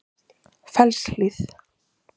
Fellshlíð